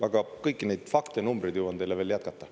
Aga kõiki neid fakte ja numbreid jõuan teile veel jätkata.